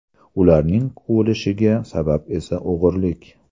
Ularning quvilishiga sabab esa o‘g‘irlik.